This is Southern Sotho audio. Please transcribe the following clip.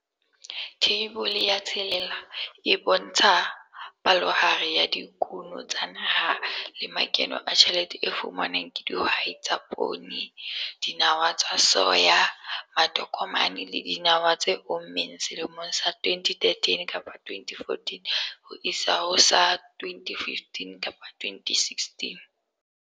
Theibole ya 6 e bontsha palohare ya dikuno tsa naha le makeno a tjhelete e fumanwang ke dihwai tsa poone, dinawa tsa soya, matokomane le dinawa tse ommeng selemong sa 2013-2014 ho isa ho sa 2015-2016.